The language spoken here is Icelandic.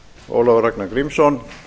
ólafur ragnar grímsson